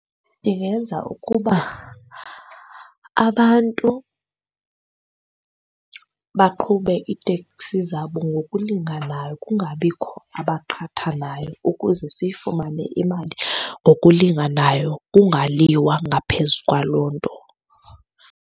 Ndingenza ukuba abantu baqhube iiteksi zabo ngokulinganayo kungabikho abaqhathanayo ukuze siyifumane imali ngokulinganayo kungaliwa ngaphezu kwaloo nto.